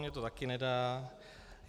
Mně to taky nedá.